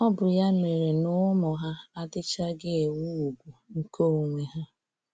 Ọ bụ ya mere n'ụmụ ha, adịchaghị enwe úgwù nke onwe ha.